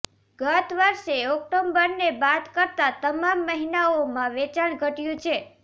ગતવર્ષે ઓક્ટોબરને બાદ કરતા તમામ મહિનાઓમાં વેચાણ ઘટ્યું છે